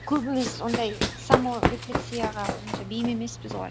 көбіміз ондай саморефлексияға онша бейім емеспіз ғой